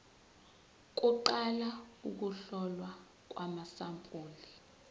kuqala ukuhlolwa kwamasampuli